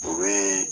O bɛ